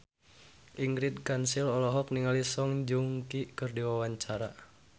Ingrid Kansil olohok ningali Song Joong Ki keur diwawancara